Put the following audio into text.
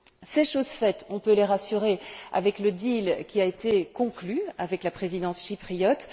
C'est chose faite, on peut les rassurer, avec l'accord qui a été conclu avec la Présidence chypriote.